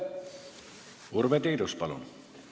Urve Tiidus, palun!